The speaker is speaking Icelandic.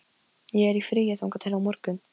Ég er í fríi þangað til á morgun.